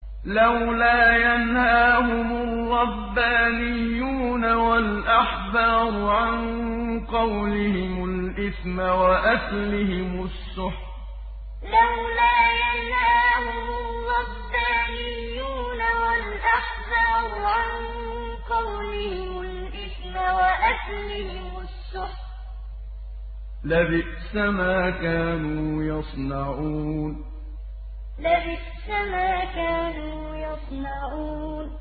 لَوْلَا يَنْهَاهُمُ الرَّبَّانِيُّونَ وَالْأَحْبَارُ عَن قَوْلِهِمُ الْإِثْمَ وَأَكْلِهِمُ السُّحْتَ ۚ لَبِئْسَ مَا كَانُوا يَصْنَعُونَ لَوْلَا يَنْهَاهُمُ الرَّبَّانِيُّونَ وَالْأَحْبَارُ عَن قَوْلِهِمُ الْإِثْمَ وَأَكْلِهِمُ السُّحْتَ ۚ لَبِئْسَ مَا كَانُوا يَصْنَعُونَ